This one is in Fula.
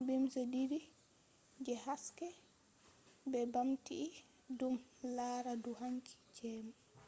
beams didi je haske be bamti dum lara dou hanki jemma